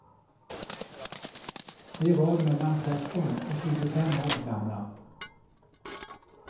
De var mellan tretton och tjugofem år gamla.